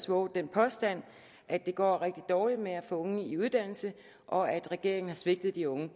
vovet den påstand at det går rigtig dårligt med at unge i uddannelse og at regeringen har svigtet de unge